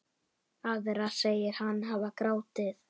Aðra segir hann hafa grátið.